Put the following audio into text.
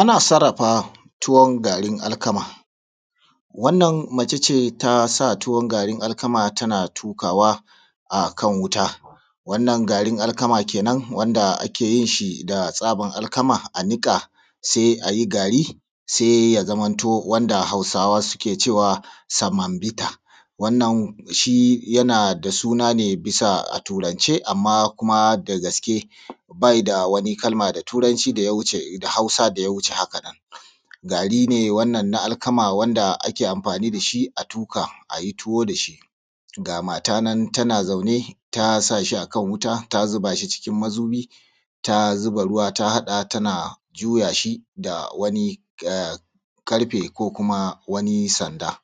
Ana sarrafa tuwon garin alkama, wannan mace ce taa sa tuwon garin alkama tana tuƙaawa akan wuta, wannan garin alkama kenan wanda ake yin shi da tsaban alkama a niƙa sai a yi gaari sai ya zamanto wanda Hausawa suke cewa samambita wannan shi yana da suna ne bisa a turance amma kuma da gaske baa yi da wani da turanci da Hausa da wuce hakanan. Ga mata nan tana zauna ta sa shi akan wuta ta zuba shi cikin mazubi ta zuba ruwa ta haɗa tanaa juya shi da wani ƙarfe ko kuma wani sanda.